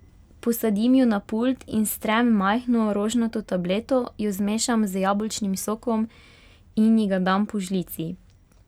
Posadim jo na pult in strem majhno rožnato tableto, jo zmešam z jabolčnim sokom in ji ga dam po žlici.